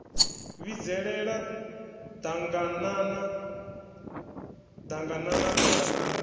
vhidzelela ḓaganana ḓ aganana ḓaganana